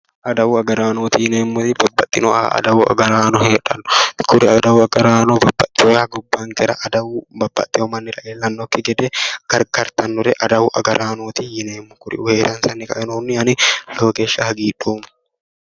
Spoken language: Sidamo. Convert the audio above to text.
Adawu agaraanooti yineemmori, kuri adawu agaraano babbaxewooha gobbankera adawu babbaxewo mannira iillannokki gede gargartannore adawu agaraanooti yineemmo kuriuu heeransanni kainohunni ani lowo geshsha hagiidhoommo.